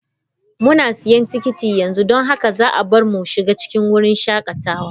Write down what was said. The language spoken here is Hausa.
Muna siyan tikiti yanzu don haka za a bar mu mu shiga cikin wurin shakatawa.